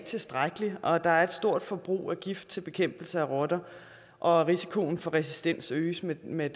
tilstrækkelig der er et stort forbrug af gift til bekæmpelse af rotter og risikoen for resistens øges med med